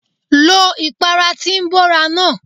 Lo ìpara tí ń bóra náà.!